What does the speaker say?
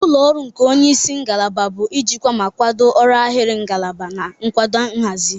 Ụlọ ọrụ nke onye isi ngalaba bụ ijikwa ma kwado ọrụ ahịrị ngalaba na nkwado nhazi.